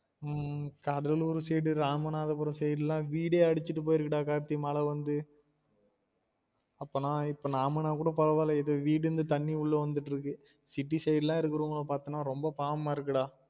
உம் Cuddalore side Ramanathapuram side லாம் வீடே அடிச்சிட்டு போயிருக்கு டா கார்த்தி மழை வந்து அப்பனா இப்ப நாமானா கூட பரவாயில்ல ஏதோ வீடுன்னு தண்ணி உள்ள வந்துட்டு இருக்கு city side லாம் இருக்குறவங்கள பாத்தானா ரொம்ப பாவமா இருக்குடா